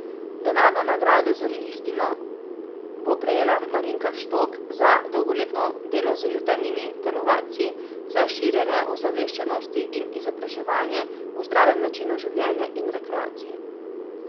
Denarno nagrado z listino bo prejela Marinka Štok za dolgoletno delo z jutranjimi telovadci, za širjenje ozaveščenosti in izobraževanje o zdravem načinu življenja in rekreaciji.